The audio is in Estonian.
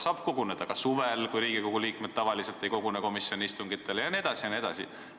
Saab koguneda ka suvel, kui Riigikogu liikmed tavaliselt ei kogune komisjoni istungitele jne.